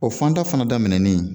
O fanda fana daminɛnen